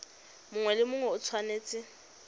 mongwe le mongwe o tshwanetse